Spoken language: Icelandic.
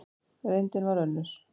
Reyndin varð önnur.